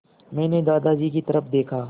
मैंने दादाजी की तरफ़ देखा